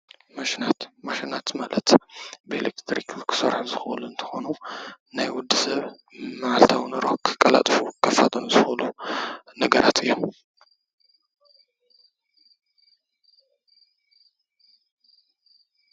ማሽናት ፡- ማሽናት ማለት ብኤሌትሪክ ንክሰርሑ ዝክእሉ እንትኮኑ ናይ ወዲ ሰብ ማዓልታዊ ንሮ ከቃላጥፉን ከፋጥኑን ዝክእሉ ነገራት እዮም፡፡